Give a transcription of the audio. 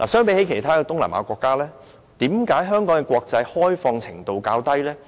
與其他東南亞國家相比，為何香港的國際開放程度較低呢？